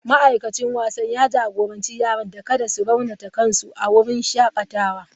Ma'aikacin wasan ya jagoranci yaran da kada su raunata kansu a wurin shakatawa.